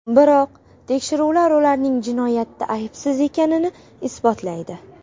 Biroq tekshiruvlar ularning jinoyatda aybsiz ekanini isbotlaydi.